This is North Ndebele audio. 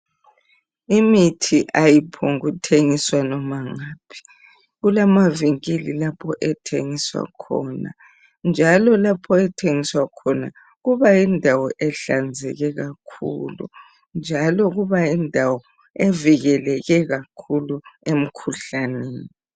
Imithi ayiphongukuthengiswa noma ngaphi. Kulamavinkili lapho ethengiswa khona njalo lapho ethengiswa khona kubayindawo ehlanzeke kakhulu njalo kubayindawo evikeleke kakhulu emkhuhlaneni.